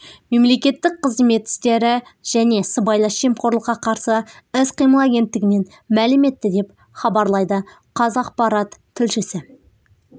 мемлекеттік қызмет істері және сыбайлас жемқорлыққа қарсы іс-қимыл агенттігінен мәлім етті деп хабарлайды қазақпарат тілшісі